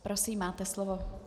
Prosím, máte slovo.